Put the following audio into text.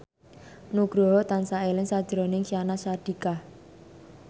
Nugroho tansah eling sakjroning Syahnaz Sadiqah